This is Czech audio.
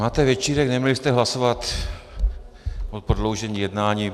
Máte večírek, neměli jste hlasovat o prodloužení jednání.